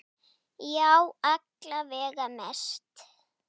Já, alla vega mest.